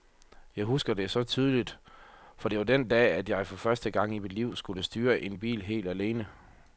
Jeg husker det så tydeligt, for det var den dag, at jeg for første gang i mit liv skulle styre en bil helt alene.